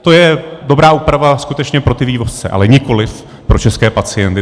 To je dobrá úprava skutečně pro ty vývozce, ale nikoliv pro české pacienty.